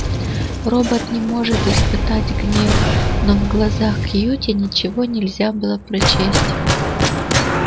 робот не может испытать гнев но в глазах кьюти ничего нельзя было прочесть